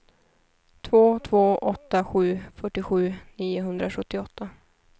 två två åtta sju fyrtiosju niohundrasjuttioåtta